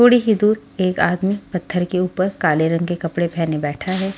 थोड़ी ही दूर एक आदमी पत्थर के ऊपर काले रंग के कपड़े पहने बैठा है।